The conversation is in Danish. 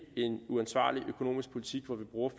en uansvarlig økonomisk politik hvor vi bruger